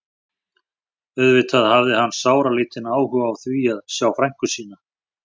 Auðvitað hafði hann sáralítinn áhuga á því að sjá frænku sína.